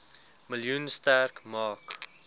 miljoen sterk maak